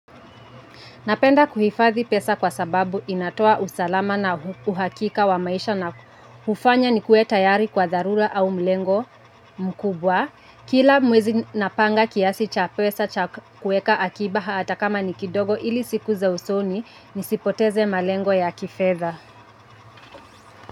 Napenda kuhifadhi pesa kwa sababu inatoa usalama na uhakika wa maisha na ufanya nikue tayari kwa dharura au lengo mkubwa. Kila mwezi napanga kiasi cha pesa kueka akiba hata kama ni kidogo ili siku za usoni nisipoteze malengo ya kifedha.